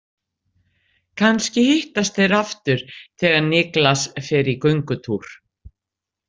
Kannski hittast þeir aftur þegar Niklas fer í göngutúr.